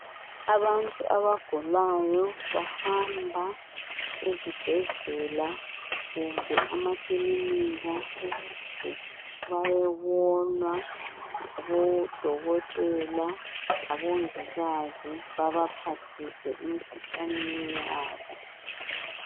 Abantu abagulayo bahamba ezibhedlela kumbe emakilika ukuze bayebonwa ngabodokotela labomongikazi, baba phathise emikhuhlaneni yabo.